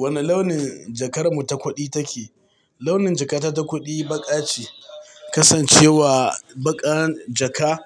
Wane launin jakar mu ta kuɗi ta ke? Launin jaka ta ta kuɗi baƙa ce. Kasancewa baƙar jaka